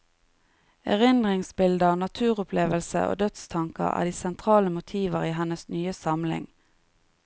Erindringsbilder, naturopplevelse og dødstanker er de sentrale motiver i hennes nye samling.